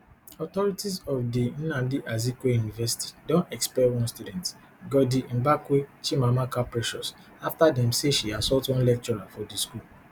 authorities of di nnamdi azikiwe university don expel one student goddymbakwe chimamaka precious after dem say she assault one lecturer for di school